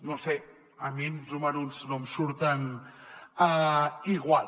no ho sé a mi els números no em surten igual